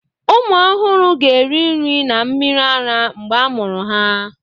ụmụ ọhụrụ ga-eri nri na mmiri ara mgbe a mụrụ ha